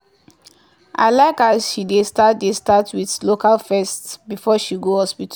i like as she dey start dey start with local first before she go hospital.